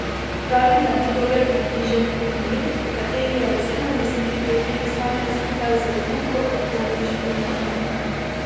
Pravi, da je to dober približek komuni, o kateri je v sedemdesetih letih sanjal skupaj z drugo uporniško mladino.